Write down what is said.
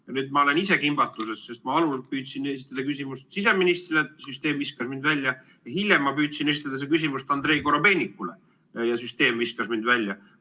Ja nüüd ma olen ise kimbatuses, sest ma püüdsin algul esitada küsimust siseministrile, süsteem viskas mind välja, hiljem ma püüdsin esitada selle küsimuse Andrei Korobeinikule, ja süsteem viskas mind välja.